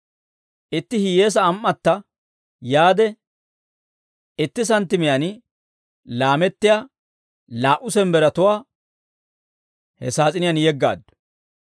Itti hiyyeesaa am"atta yaade, itti santtimiyaan laamettiyaa laa"u sembberatuwaa he saas'iniyaan yeggaaddu.